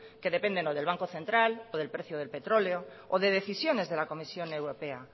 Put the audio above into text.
que dependen o del banco central o del precio del petróleo o de decisiones de la comisión europea